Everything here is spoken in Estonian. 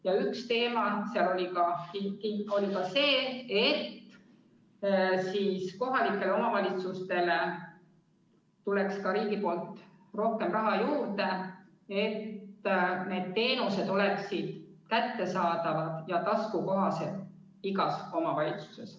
Ja üks teema seal oli ka see, et kohalikele omavalitsustele tuleks ka riigilt rohkem raha juurde, et need teenused oleksid kättesaadavad ja taskukohased igas omavalitsuses.